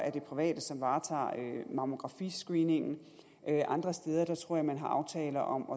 er det private som varetager mammografiscreeningen andre steder tror jeg man har aftaler om